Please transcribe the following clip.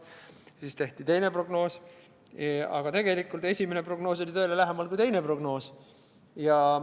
Siis tehti teine prognoos, aga tegelikult esimene prognoos oli tõele lähemal kui teine prognoos.